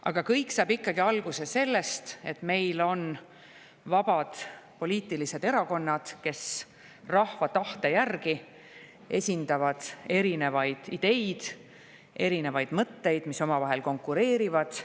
Aga kõik saab ikkagi alguse sellest, et meil on vabad poliitilised erakonnad, kes rahva tahte järgi esindavad erinevaid ideid, erinevaid mõtteid, mis omavahel konkureerivad.